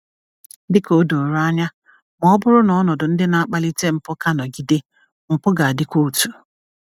Dị ka o doro anya, ma ọ bụrụ na ọnọdụ ndị na-akpalite mpụ ka nọgide, mpụ ga-adịkwa otu.